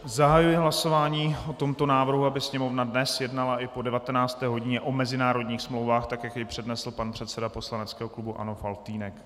Zahajuji hlasování o tomto návrhu, aby Sněmovna dnes jednala i po 19. hodině o mezinárodních smlouvách, tak jak jej přednesl pan předseda poslaneckého klubu ANO Faltýnek.